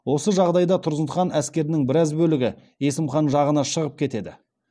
осы жағдайда тұрсын хан әскерінің біраз бөлігі есім хан жағына шығып кетеді